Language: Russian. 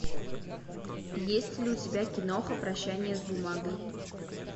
есть ли у тебя киноха прощание с бумагой